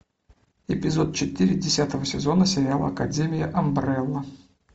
эпизод четыре десятого сезона сериал академия амбрелла